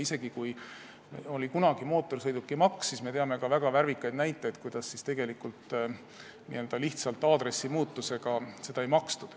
Kunagi oli mootorsõidukimaks ja me teame väga värvikaid näiteid, kuidas lihtsalt aadressi muutmise tõttu seda ei makstud.